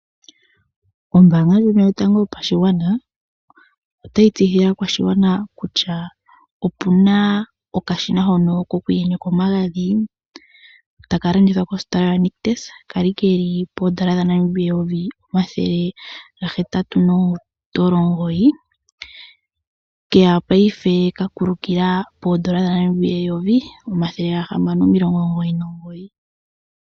Ombaanga ndjono yotango yopashigwana otayi tseyithile aakwashigwana kutya ope na okashina ko kuyenyeka omagadhi ta kalandithwa kositola yoNictus kali keli poondopa dhaNamibia 1 809 paife okakulukila poondola1 699.